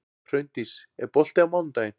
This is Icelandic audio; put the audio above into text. Hraundís, er bolti á mánudaginn?